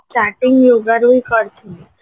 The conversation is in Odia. starting yogaରୁ ହିଁ କରିଥିଲି